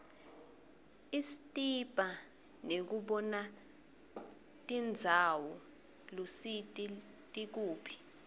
ispsita nekubonatinbzawo luitisi tikuphi